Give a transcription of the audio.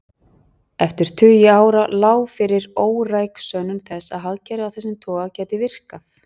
Eftir tugi ára lá fyrir óræk sönnun þess að hagkerfi af þessum toga gæti virkað.